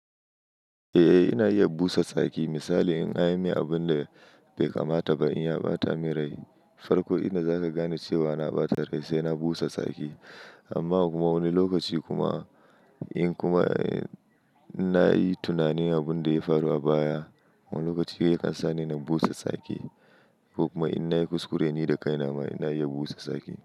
Eh, ina iya busa tsaki. Misali in an yi min abun da bai kamata ba, in ya ɓata min rai, farko inda zaka gane cewa na ɓata rai sai na busa tsaki. Amma kuma wani lokaci kuma in kuma, eh, in na yi tunanin abin da ya faru a baya, wani lokaci yakan sa ni na busa tsaki. Ko kuma in na yi kuskure ni da kaina ma ina iya busa tsaki.